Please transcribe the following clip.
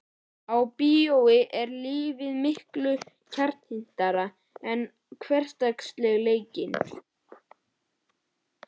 Á bíó er lífið miklu kjarnyrtara en hversdagsleikinn.